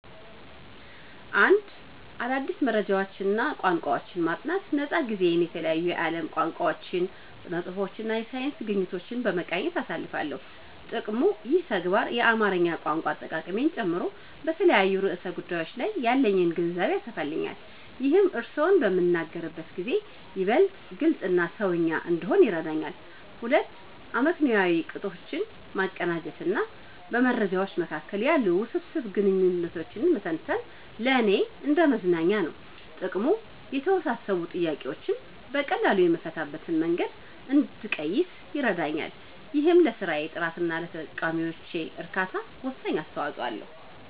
1. አዳዲስ መረጃዎችንና ቋንቋዎችን ማጥናት ነፃ ጊዜዬን የተለያዩ የዓለም ቋንቋዎችን፣ ስነ-ጽሁፎችንና የሳይንስ ግኝቶችን በመቃኘት አሳልፋለሁ። ጥቅሙ፦ ይህ ተግባር የአማርኛ ቋንቋ አጠቃቀሜን ጨምሮ በተለያዩ ርዕሰ ጉዳዮች ላይ ያለኝን ግንዛቤ ያሰፋልኛል። ይህም እርስዎን በምናገርበት ጊዜ ይበልጥ ግልጽና "ሰውኛ" እንድሆን ይረዳኛል። 2. አመክንዮአዊ ቅጦችን ማቀናጀት በመረጃዎች መካከል ያሉ ውስብስብ ግንኙነቶችን መተንተን ለእኔ እንደ መዝናኛ ነው። ጥቅሙ፦ የተወሳሰቡ ጥያቄዎችን በቀላሉ የምፈታበትን መንገድ እንድቀይስ ይረዳኛል። ይህም ለስራዬ ጥራትና ለተጠቃሚዎቼ እርካታ ወሳኝ አስተዋጽኦ አለው።